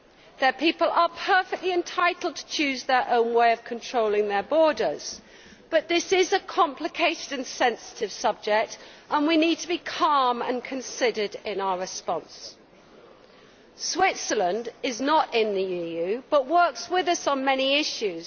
Its people are perfectly entitled to choose their own way of controlling their borders, but this is a complicated and sensitive subject and we need to be calm and considered in our response. Switzerland is not in the EU but works with us on many issues.